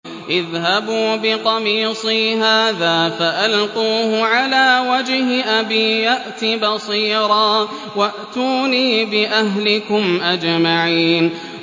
اذْهَبُوا بِقَمِيصِي هَٰذَا فَأَلْقُوهُ عَلَىٰ وَجْهِ أَبِي يَأْتِ بَصِيرًا وَأْتُونِي بِأَهْلِكُمْ أَجْمَعِينَ